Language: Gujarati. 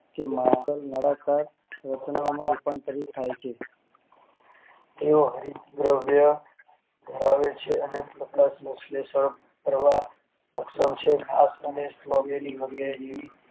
જેમાં ન મળે તો વર્તમાન થાય છે તેઓ દ્રવ્ય ધરાવે છે અને